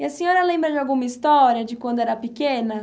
E a senhora lembra de alguma história de quando era pequena?